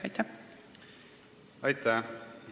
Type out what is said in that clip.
Aitäh!